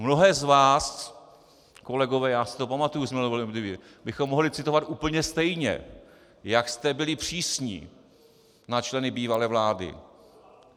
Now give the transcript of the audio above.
Mnohé z vás, kolegové, já si to pamatuji, , bychom mohli citovat úplně stejně, jak jste byli přísní na členy bývalé vlády.